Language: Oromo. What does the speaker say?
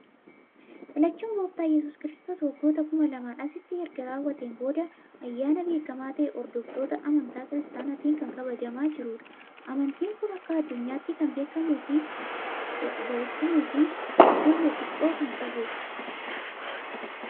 Dhalachuun Gooftaa yesuus Kiristoos waggoota kuma lamaan asitti erga raawwateen booda Ayyaana beekamaa ta'ee hordoftoota amantaa kiristaanaatiin kan kabajamaa jirudha. Amantiin kun akka addunyaatti kan beekamuu fi bamoota hin hordofne xiqqoo kan qabudha.